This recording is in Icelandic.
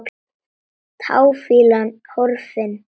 Táfýlan horfin.